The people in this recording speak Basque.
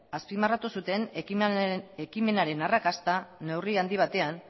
azpimarratu zuten ekimenaren arrakasta neurri handi batean